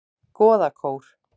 Goðakór